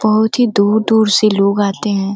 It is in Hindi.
बहुत ही दूर दूर से लोग आते हैं।